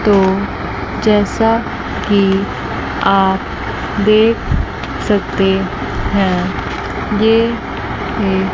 तो जैसा कि आप देख सकते हैं ये एक--